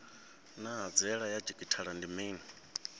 naa hanziela ya didzhithala ndi mini